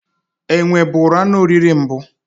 Enwe bụrụ anụ oriri mbụ.